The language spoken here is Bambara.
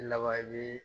Lawaji